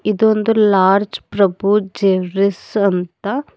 ಇದೊಂದು ಲಾರ್ಜ್ ಪ್ರಭು ಜವರೀಸ್ ಅಂತ.